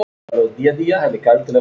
Farið vel um mig?